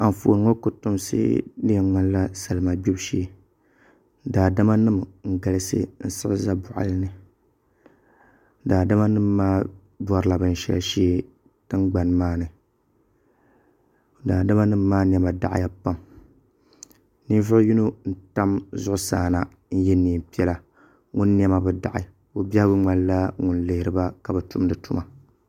Anfooni ŋo kotomsi di yɛn ŋmanila salima gbibu shee daadama nim n galisi n siɣi ʒɛ boɣali ni daadama nim maa borila binshaɣu shee tingbani maa ni daadama nim maa niɛma daɣaya pam ninvuɣu yino n tam zuɣusaa na n yɛ neen piɛla ŋun niɛma bi daɣi o biɛhagu ŋmanila ŋun lihiriba ka bi tumdi tuma